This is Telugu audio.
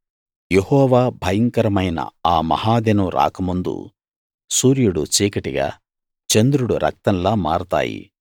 యెహోవా భయంకరమైన ఆ మహాదినం రాకముందు సూర్యుడు చీకటిగా చంద్రుడు రక్తంలా మారతాయి